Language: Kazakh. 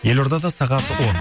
елордада сағат он